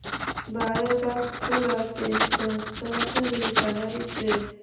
बारबासपुरा ते गंगाझरी जाणारी ट्रेन